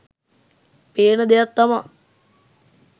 පේන දෙයක් තමා